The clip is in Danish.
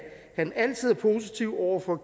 han altid er positiv over for at